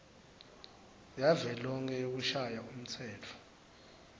yavelonkhe yekushaya umtsetfo